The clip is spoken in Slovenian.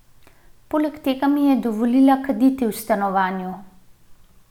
Poleg tega mi je dovolila kaditi v stanovanju.